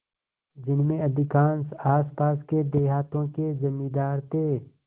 जिनमें अधिकांश आसपास के देहातों के जमींदार थे